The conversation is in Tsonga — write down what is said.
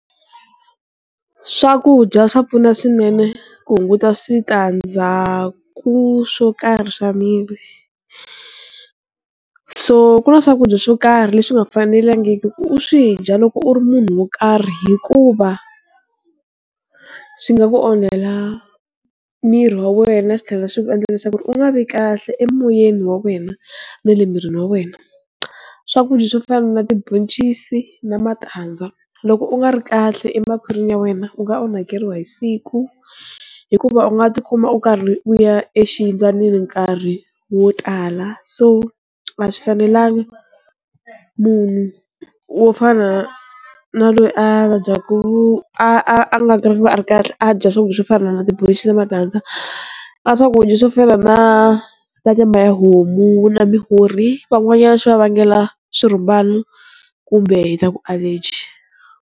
Swakudya swa pfuna swinene ku hunguta switandzhaku swo karhi swa miri, so ku na swakudya swo karhi leswi nga fanelangiki ku u swi dya loko u ri munhu wo karhi hikuva swi nga ku onhela miri wa wena swi tlhela swi ku endla leswaku u nga vi kahle emoyeni wa wena na le mirini wa wena, swakudya swo fana na tiboncisi na matandza loko u nga ri kahle emakhwarini ya wena u nga onhakeriwa hi siku hikuva u nga tikuma u karhi u ya exiyindlwanini nkarhi wo tala, so a swi fanelangi munhu wo fana na loyi a vabyaku a a nga ri a ri kahle a dya swakudya swo fana na tiboncisi na matandza, na swakudya swo fana na nyama ya homu na mihorhi van'wanyana swi va vangela swirhumbani kumbe hi ta ku allergy.